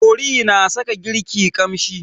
Kori na sa girki ƙamshi.